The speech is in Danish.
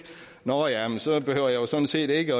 nå ja så behøver jeg sådan set ikke